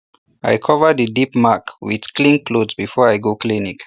i cover the deep mark with clean cloth before i go clinic